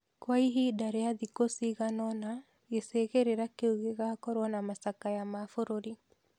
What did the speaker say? Kwa ihinda rĩa thikũ cigana ũna gĩcigĩrĩra kĩu gĩgakorũo na macakaya ma bũrũri.